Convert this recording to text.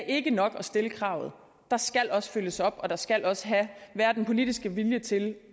ikke er nok at stille kravet der skal også følges op og der skal også være den politiske vilje til